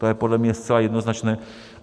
To je podle mě zcela jednoznačné.